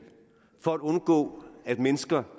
for at undgå at mennesker